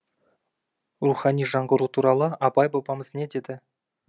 рухани жаңғыру туралы абай бабамыз не деді